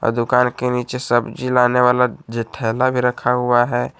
दुकान के नीचे सब्जी लाने वाला थैला भी रखा हुआ है।